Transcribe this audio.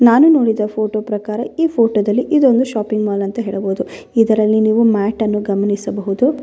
ಹಾಗೆ ಇದರ ಸುತ್ತ ಮುತ್ತ ಕವರ್ಗಳನ್ನು ಸಹಿತ ನೀವು ಗಮಣಿಸಬಹುದು.